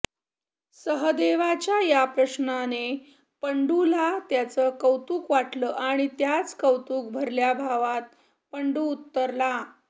सहदेवाच्या हा प्रश्नाने पंडूला त्याचं कौतुक वाटलं आणि त्याच कौतुकभरल्या भावात पंडू उत्तरला